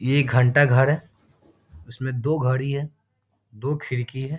यह घंटा घर है उसमें दो घड़ी है दो खिड़की है ।